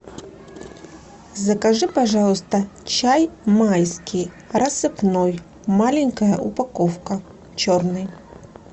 закажи пожалуйста чай майский рассыпной маленькая упаковка черный